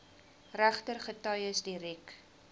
regter getuies direk